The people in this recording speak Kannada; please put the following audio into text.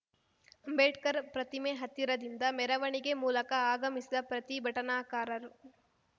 ಅಂಬೇಡ್ಕರ್‌ ಪ್ರತಿಮೆ ಹತ್ತಿರದಿಂದ ಮೆರವಣಿಗೆ ಮೂಲಕ ಆಗಮಿಸಿದ ಪ್ರತಿಭಟನಾಕಾರರು